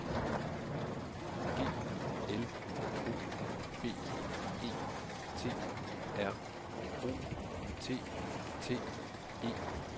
G L O B E T R O T T E R